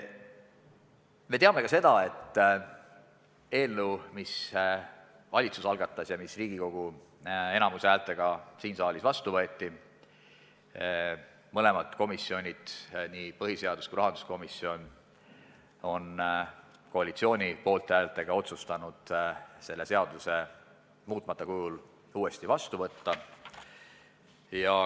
Me teame ka seda, et selle eelnõu, mille valitsus algatas ja mis Riigikogu enamuse häältega siin saalis vastu võeti, on mõlemad komisjonid – nii põhiseadus- kui ka rahanduskomisjon – koalitsiooni poolthäältega otsustanud muutmata kujul uuesti vastu võtta.